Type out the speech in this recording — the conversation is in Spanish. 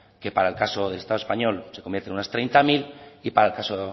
que para el caso del estado español se convierte en unas treinta mil y para el caso